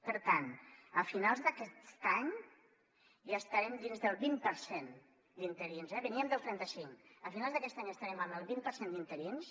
per tant a finals d’aquest any ja estarem dins del vint per cent d’interins eh veníem del trenta cinc a finals d’aquest any estarem en el vint per cent d’interins